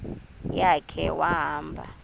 ya khe wahamba